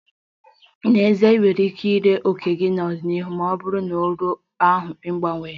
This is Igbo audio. N'ezie, ị nwekwara ike ree òkè gị n'ọdịnihu ma ọ bụrụ na uru ahụ abawanye